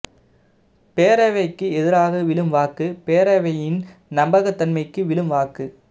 பேரவைக்கு எதிராக விழும் வாக்கு பேரவையின் நம்பகத்தன்மைக்கு விழும் வாக்கு